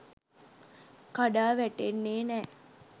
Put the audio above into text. කඩා වැටෙන්නේ නෑ.